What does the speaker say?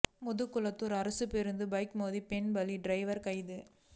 முதுகுளத்தூா் அரசு பேருந்து பைக் மோதி பெண் பலி டிரைவா் கைது